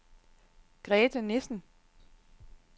Grethe Nissen